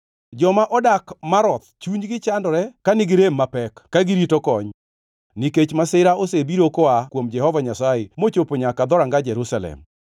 Joma odak Maroth chunygi chandore ka nigi rem mapek ka girito kony, nikech masira osebiro koa kuom Jehova Nyasaye mochopo nyaka dhoranga Jerusalem.